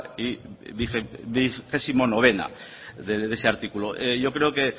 y veintinueve de ese artículo yo creo que